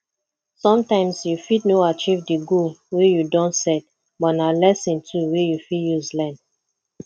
sometimes you fit no achieve di goal wey you don set but na lesson too wey you fit use learn